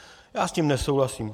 Já s tím nesouhlasím.